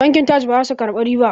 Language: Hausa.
Bankin Taj ba za su ƙarbi riba